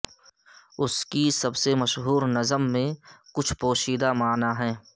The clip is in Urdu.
اس کی سب سے مشہور نظم میں کچھ پوشیدہ معنی ہیں